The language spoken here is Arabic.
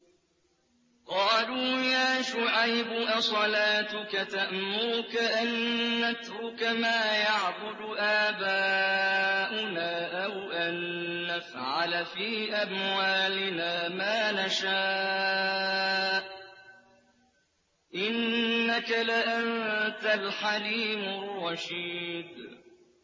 قَالُوا يَا شُعَيْبُ أَصَلَاتُكَ تَأْمُرُكَ أَن نَّتْرُكَ مَا يَعْبُدُ آبَاؤُنَا أَوْ أَن نَّفْعَلَ فِي أَمْوَالِنَا مَا نَشَاءُ ۖ إِنَّكَ لَأَنتَ الْحَلِيمُ الرَّشِيدُ